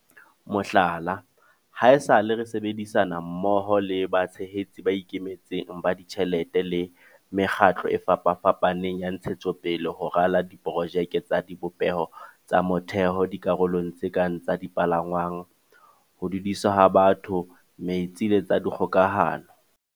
Mohlala, haesale re sebedi-sana mmoho le batshehetsi ba ikemetseng ba ditjhelete le mekgatlo e fapafapaneng ya ntshetsopele ho rala di-projeke tsa dibopeho tsa motheo dikarolong tse kang tsa dipalangwang, ho dudiswa ha batho, metsi le tsa kgoka-hano.